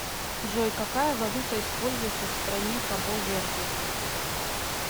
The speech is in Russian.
джой какая валюта используется в стране кабо верде